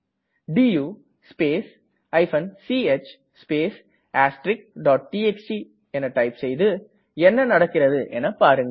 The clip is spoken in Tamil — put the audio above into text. to space ch space txt பின் என்ன நடக்கிறது என்று பாருங்கள்